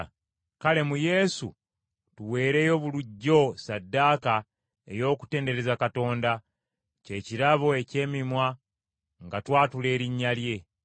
Kale mu Yesu tuweerayo bulijjo ssaddaaka ey’okutendereza Katonda, kye kirabo eky’emimwa, nga twatula erinnya lye.